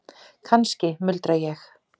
Kannski, muldra ég.